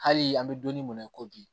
Hali an bɛ don min na i ko bi